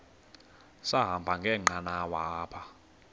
sahamba ngenqanawa apha